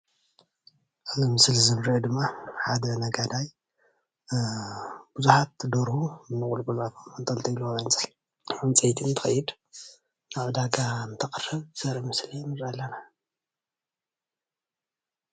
ኣብዚ ምስሊ እዚ ዝረአ ደማ ሓደ ነጋዳይ ቡዙሓት ደርሁ ንቁልቁል ኣፎም ኣንጠልጢሉ ኣብ ዕንፀይቲ እንትከይድ ናብ ዕዳጋ እንተቅርብ ዘርኢ ምስሊ ንርኢ ኣለና፡፡